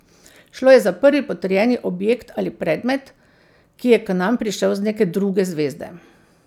Šlo je za prvi potrjeni objekt ali predmet, ki je k nam prišel z neke druge zvezde.